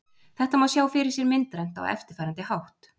Þetta má sjá fyrir sér myndrænt á eftirfarandi hátt: